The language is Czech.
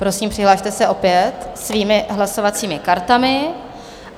Prosím, přihlaste se opět svými hlasovacími kartami.